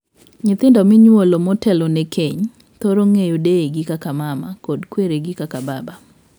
Nyithindo minyuolo motelone keny thoro ng'eyo deyegi kaka 'mama' kod kweregi kaka 'baba'.